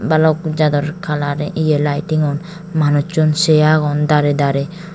balok jador color ye lightingun manusun seh agon darey darey.